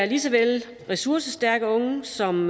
lige så vel være ressourcestærke unge som